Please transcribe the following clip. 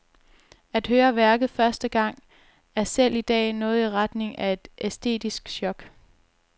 At høre værket første gang er selv i dag noget i retning af et æstetisk chok.